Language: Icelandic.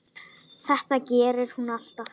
Þetta gerir hún alltaf.